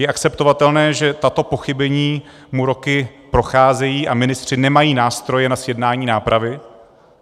Je akceptovatelné, že tato pochybení mu roky procházejí a ministři nemají nástroje na zjednání nápravy?